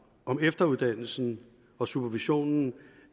om efteruddannelsen og supervisionen